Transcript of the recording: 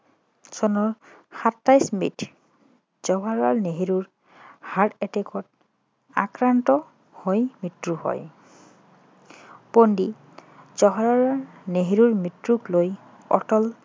চনৰ সাতাইছ মেত জৱাহৰলাল নেহেৰুৰ heart attach ত আক্ৰান্ত হৈ মৃত্যু হয় পণ্ডিত জৱাহৰলাল নেহেৰুৰ মৃত্যুক লৈ অটল